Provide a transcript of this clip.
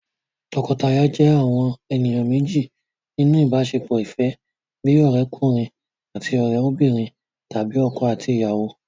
Tọkọtaya jẹ́ àwọn ènìyàn méjì nínú ìbáṣepọ̀ ìfẹ́, bíi ọ̀rẹ́'kùnrin àti òrẹ́'bìnrin tàbí ọkọ àti ìyàwó